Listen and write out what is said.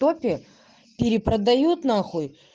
топе перепродают нахуй